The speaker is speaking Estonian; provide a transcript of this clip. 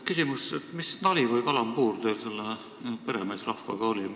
Küsimus: mis nali või kalambuur teil selle peremeesrahvaga oli?